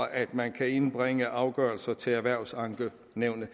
at man kan indbringe afgørelser til erhvervsankenævnet